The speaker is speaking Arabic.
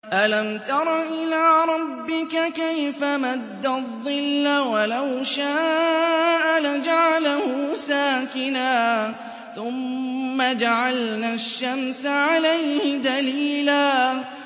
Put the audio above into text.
أَلَمْ تَرَ إِلَىٰ رَبِّكَ كَيْفَ مَدَّ الظِّلَّ وَلَوْ شَاءَ لَجَعَلَهُ سَاكِنًا ثُمَّ جَعَلْنَا الشَّمْسَ عَلَيْهِ دَلِيلًا